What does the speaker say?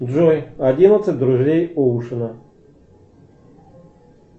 джой одиннадцать друзей оушена